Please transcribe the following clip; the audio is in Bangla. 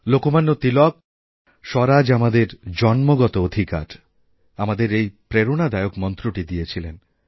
লোকমান্য তিলক স্বরাজ আমাদের জন্মসিদ্ধ অধিকার আমাদের এইপ্রেরণাদায়ক মন্ত্রটি দিয়েছিলেন